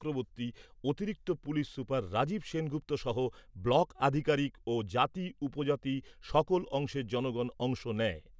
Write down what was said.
চক্রবর্তী, অতিরিক্ত police super Rajib Sengupta সহ block আধিকারিক ও জাতি উপজাতি সকল অংশের জনগণ অংশ নেয়।